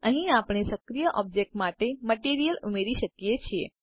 અહીં આપણે સક્રિય ઓબ્જેક્ટ માટે મટીરીઅલ ઉમેરી શકીએ છે